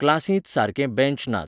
क्लासींत सारके बॅंच नात.